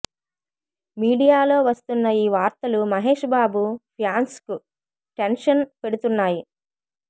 మీడియాలో వస్తున్న ఈ వార్తలు మహేష్ బాబు ఫ్యాన్స్కు టెన్షన్ పెడుతున్నాయి